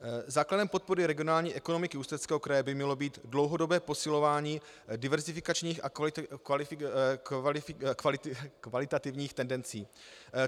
Základem podpory regionální ekonomiky Ústeckého kraje by mělo být dlouhodobé posilování diverzifikačních a kvalitativních tendencí.